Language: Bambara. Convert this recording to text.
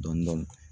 Dɔndɔni